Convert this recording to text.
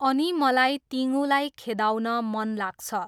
अनि मलाई तिङूलाई खेदाउन मन लाग्छ।